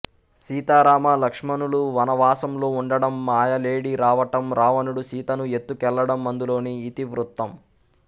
సీతారామ లక్ష్మణులు వనవాసంలో ఉండడం మాయలేడి రావటం రావణుడు సీతను ఎత్తుకెళ్లడం అందులోని ఇతివృత్తం